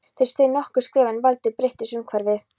Ég steig nokkur skref en aldrei breyttist umhverfið.